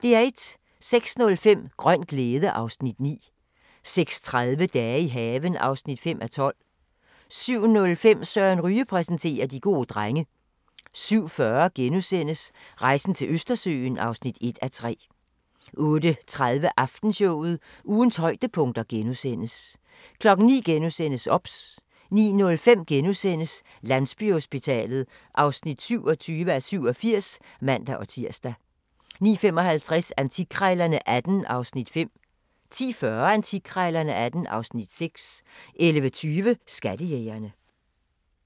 06:05: Grøn glæde (Afs. 9) 06:30: Dage i haven (5:12) 07:05: Søren Ryge præsenterer: De gode drenge 07:40: Rejsen til Østersøen (1:3)* 08:30: Aftenshowet – ugens højdepunkter * 09:00: OBS * 09:05: Landsbyhospitalet (27:87)*(man-tir) 09:55: Antikkrejlerne XVIII (Afs. 5) 10:40: Antikkrejlerne XVIII (Afs. 6) 11:20: Skattejægerne